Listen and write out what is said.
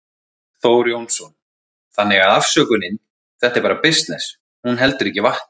Þór Jónsson: Þannig að afsökunin, þetta er bara bisness, hún heldur ekki vatni?